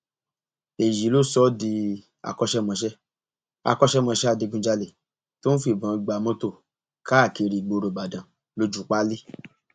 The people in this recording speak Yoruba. èyí ló sọ ọ di akọṣẹmọṣẹ akọṣẹmọṣẹ adigunjalè tó ń fìbọn gba mọtò káàkiri ìgboro ìbàdàn lójúu páálí